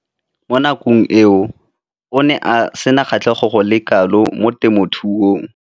Mo nakong eo o ne a sena kgatlhego go le kalo mo temothuong.